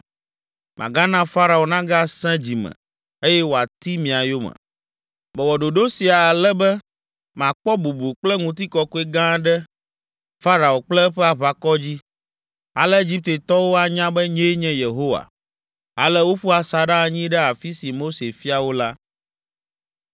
Magana Farao nagasẽ dzi me, eye wòati mia yome. Mewɔ ɖoɖo sia ale be makpɔ bubu kple ŋutikɔkɔe gã ɖe Farao kple eƒe aʋakɔ dzi. Ale Egiptetɔwo anya be nyee nye Yehowa.” Ale woƒu asaɖa anyi ɖe afi si Mose fia wo la.